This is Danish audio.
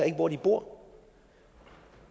ikke hvor de bor